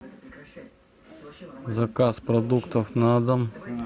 заказ продуктов на дом